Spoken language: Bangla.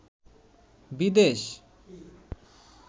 বিদেশ